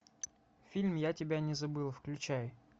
фильм я тебя не забыл включай